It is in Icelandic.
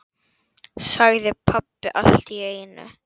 sagði pabbi allt í einu.